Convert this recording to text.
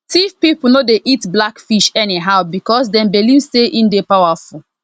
tiv people no dey eat black fish anyhow because dem believe say e dey powerful